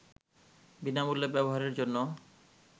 বিনামূল্যে ব্যবহারের জন্যে